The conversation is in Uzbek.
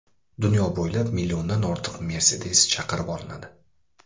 Dunyo bo‘ylab milliondan ortiq Mercedes chaqirib olinadi.